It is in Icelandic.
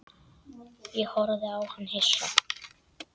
Ég horfði á hann hissa.